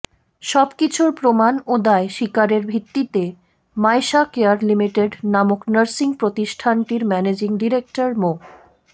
সবকিছুর প্রমাণ ও দায় স্বীকারের ভিত্তিতে মায়শা কেয়ার লিমিটেড নামক নার্সিং প্রতিষ্ঠানটির ম্যানেজিং ডিরেক্টর মো